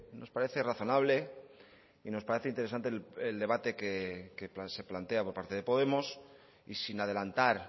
nos parece razonable y nos parece interesante el debate que se plantea por parte de podemos y sin adelantar